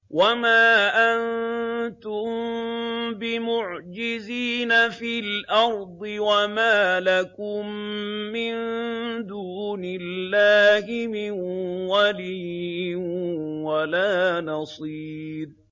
وَمَا أَنتُم بِمُعْجِزِينَ فِي الْأَرْضِ ۖ وَمَا لَكُم مِّن دُونِ اللَّهِ مِن وَلِيٍّ وَلَا نَصِيرٍ